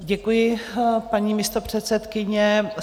Děkuji, paní místopředsedkyně.